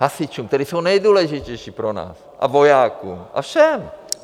Hasičům, kteří jsou nejdůležitější pro nás, a vojákům a všem.